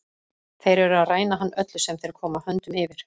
Þeir eru að ræna hann öllu sem þeir koma höndum yfir.